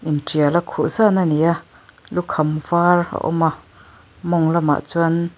intiala khuh zan a ni a lukham var a awm a mawng lamah chuan--